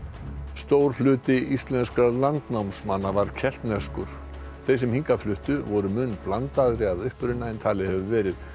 stór hluti íslenskra landnámsmanna var keltneskur þeir sem hingað fluttu voru mun blandaðri að uppruna en talið hefur verið